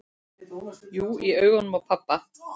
Jú, í augum pabba